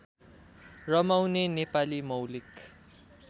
रमाउने नेपाली मौलिक